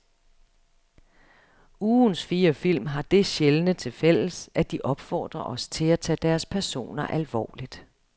Ugens fire film har det sjældne til fælles, at de opfordrer os til at tage deres personer alvorligt.